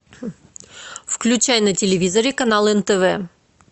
включай на телевизоре канал нтв